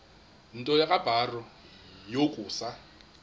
nto kubarrow yokusa